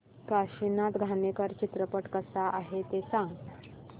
काशीनाथ घाणेकर चित्रपट कसा आहे ते सांग